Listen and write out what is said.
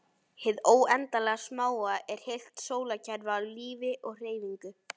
Hið óendanlega smáa er heilt sólkerfi af lífi og hreyfingu.